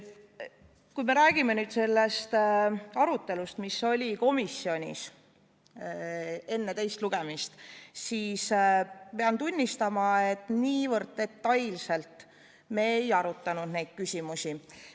Kui me räägime nüüd sellest arutelust, mis oli komisjonis enne teist lugemist, siis pean tunnistama, et niivõrd detailselt me ei arutanud neid küsimusi.